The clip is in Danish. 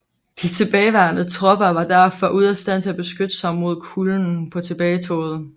De tilbageværende tropper var derfor ude af stand til at beskytte sig mod kulden på tilbagetoget